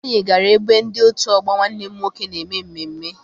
Anyị gara ebe ndị otu ọgbọ Nwanne m nwoke na-eme mmemme.